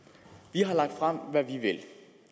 vi har lagt frem hvad vi vil